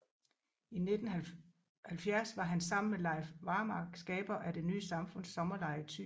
I 1970 var han sammen med Leif Varmark skaber af Det ny samfunds sommerlejr i Thy